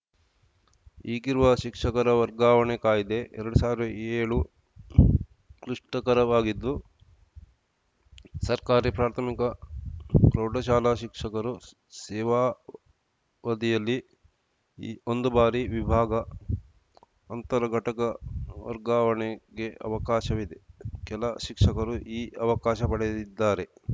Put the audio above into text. ಈಗಿರುವ ಶಿಕ್ಷಕರ ವರ್ಗಾವಣೆ ಕಾಯ್ದೆ ಎರಡು ಸಾವಿರದ ಏಳು ಕ್ಲಿಷ್ಟಕರವಾಗಿದ್ದು ಸರ್ಕಾರಿ ಪ್ರಾಥಮಿಕ ಪ್ರೌಢಶಾಲಾ ಶಿಕ್ಷಕರು ಸೇವಾವದಿಯಲ್ಲಿ ಒಂದು ಬಾರಿ ವಿಭಾಗ ಅಂತರ ಘಟಕ ವರ್ಗಾವಣೆಗೆ ಅವಕಾಶವಿದೆ ಕೆಲ ಶಿಕ್ಷಕರು ಈ ಅವಕಾಶ ಪಡೆದಿದ್ದಾರೆ